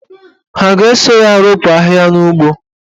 Ha ga-eso ya ropu ahịhịa n'ugbo?